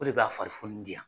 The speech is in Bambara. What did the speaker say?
O de bi ka farifoni di yan.